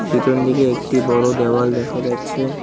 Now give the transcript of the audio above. পিছন দিকে একটি বড় দেওয়াল দেখা যাচ্ছে।